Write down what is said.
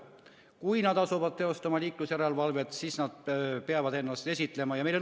Kui nad asuvad teostama liiklusjärelevalvet, siis nad peavad ennast esitlema.